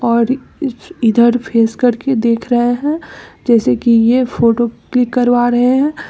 और इछ इधर फेस करके देख रहे हैं जैसे कि ये फ़ोटो क्लिक करवा रहे हैं।